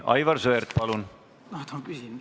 Aivar Sõerd, palun!